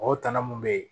O tana mun be ye